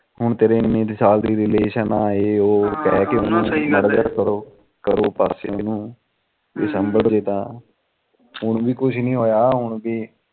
ਹੁਣ ਤੇਰੇ ਐਨੇ ਸਾਲ ਦੀ relation ਆ ਇਹ ਉਹ ਕਹਿ ਕੇ ਮਾੜਾ ਜਾ ਸਹੀ ਕਰੋ ਕਰੋ ਪਾਸੇ ਇਹਨੂੰ ਜੇ ਸਾਭਣਗੇ ਤਾ ਹੁਣ ਵੀ ਕੁਛ ਨੀ ਹੋਇਆ ਹੁਣ ਵੀ ਨਾ ਨਾ ਆਪਾ ਸੰਭਾਲਿਆ ਵਾ ਚੰਗੀ ਤਰਾ